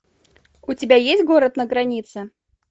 у тебя есть город на границе